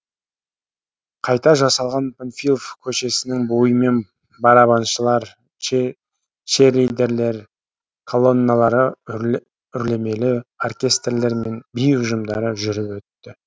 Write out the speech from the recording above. қайға жасалған панфилов көшесінің бойымен барабаншылар черлидерлер мен колонналары үрлемелері оркестрлер мен би ұжымдары жүріп өтті